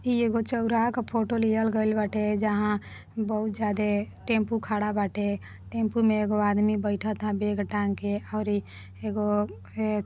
ई एगो चौराहा का फोटो लिहल गईल बाटे जहाँ बहुत ज्यादे टेम्पो खड़ा बाटे टेम्पो में एगो आदमी बैठता बैग टांग के और ई एगो ए --